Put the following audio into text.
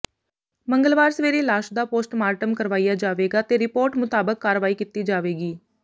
ਮੰਗਲਵਾਰ ਸਵੇਰੇ ਲਾਸ਼ ਦਾ ਪੋਸਟਮਾਰਟਮ ਕਰਵਾਇਆ ਜਾਵੇਗਾ ਤੇ ਰਿਪੋਰਟ ਮੁਤਾਬਕ ਕਾਰਵਾਈ ਕੀਤੀ ਜਾਵੇਗੀ